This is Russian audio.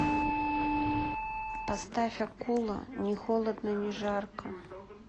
поставь акула ни холодно ни жарко